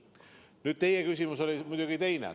Nüüd, teie küsimus oli muidugi teise asja kohta.